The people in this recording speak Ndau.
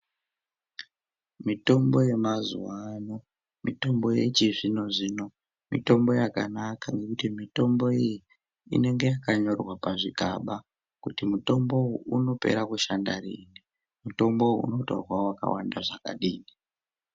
Mitombo yemazuwa ano, mitombo yechizvino zvino mitombo yakanaka nekuti mitombo iyi inenge yakanyorwa pazvigaba kuti mutombo uwu unopera kushanda rini, mutombo uwu unotorwa wakawanda zvakadini.